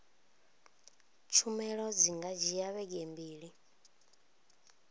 khumbelo dzi nga dzhia vhege mbili